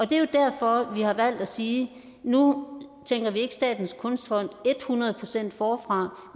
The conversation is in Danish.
det er jo derfor vi har valgt at sige at nu tænker vi ikke statens kunstfond et hundrede procent forfra